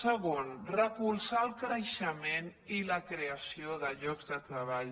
segon recol·zar el creixement i la creació de llocs de treball